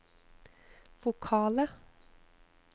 vokale